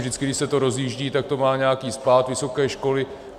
Vždy když se to rozjíždí, tak to má nějaký spád, vysoké školy.